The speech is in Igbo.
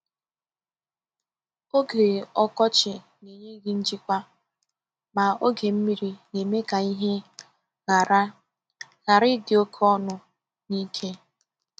Oge ọkọchị na-enye gị njikwa, ma oge mmiri na-eme ka ihe ghara ghara idi oke ọnụ na ike.